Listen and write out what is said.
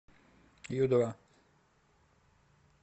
ю два